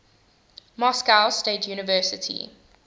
moscow state university